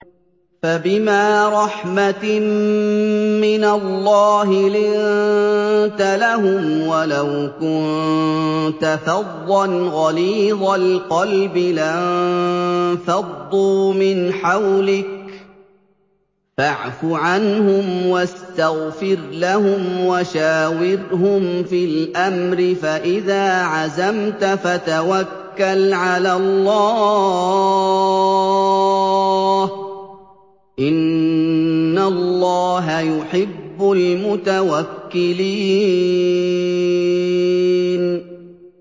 فَبِمَا رَحْمَةٍ مِّنَ اللَّهِ لِنتَ لَهُمْ ۖ وَلَوْ كُنتَ فَظًّا غَلِيظَ الْقَلْبِ لَانفَضُّوا مِنْ حَوْلِكَ ۖ فَاعْفُ عَنْهُمْ وَاسْتَغْفِرْ لَهُمْ وَشَاوِرْهُمْ فِي الْأَمْرِ ۖ فَإِذَا عَزَمْتَ فَتَوَكَّلْ عَلَى اللَّهِ ۚ إِنَّ اللَّهَ يُحِبُّ الْمُتَوَكِّلِينَ